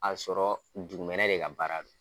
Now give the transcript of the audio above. Ka sɔrɔ juguminɛ de ka baara don.